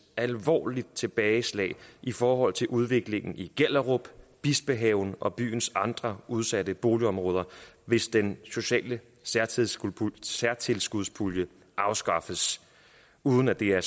alvorligt tilbageslag i forhold til udviklingen i gellerup bispehaven og byens andre udsatte boligområder hvis den sociale særtilskudspulje særtilskudspulje afskaffes uden at det er